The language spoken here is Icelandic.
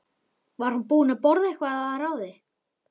Var hún búin að borða eitthvað að ráði?